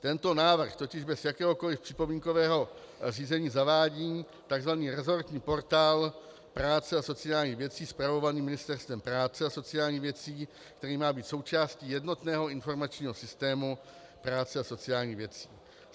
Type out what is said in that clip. Tento návrh totiž bez jakéhokoliv připomínkového řízení zavádí takzvaný resortní portál práce a sociálních věcí spravovaný Ministerstvem práce a sociálních věcí, který má být součástí jednotného informačního systému práce a sociálních věcí.